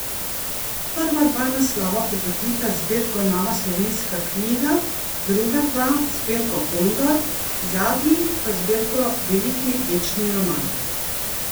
Prva dva naslova bogatita zbirko Nova slovenska knjiga, druga dva zbirko Kondor, zadnji pa zbirko Veliki večni roman.